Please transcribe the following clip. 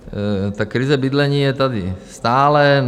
Takže krize bydlení je tady stále.